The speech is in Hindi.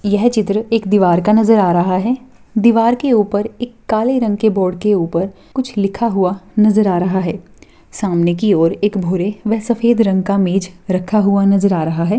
यह चित्र एक दीवार का नजर आ रहा है दीवार के उपर एक काले रंग के बोर्ड के उपर कुछ लिखा हुआ नजर आ रहा है सामने की ओर एक भूरे या सफ़ेद रंग का मेज रखा हुआ नजर आ रहा है।